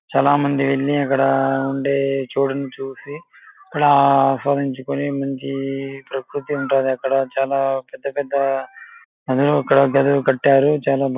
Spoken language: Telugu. చాల మంది వెళ్ళి అక్కడ ఉండే చోటిని చూసి అక్కడ అస్వాదించుకొని మంచి ప్రకృతి ఉంటాది అక్కడ. చాల పెద్ద-పెద్ద గదులు కట్టారు. చాలా బాగుంది.